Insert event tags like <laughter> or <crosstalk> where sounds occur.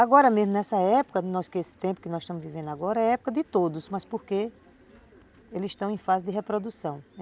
Agora mesmo, nessa época, <unintelligible> nesse tempo que nós estamos vivendo agora, é época de todos, mas porque eles estão em fase de reprodução.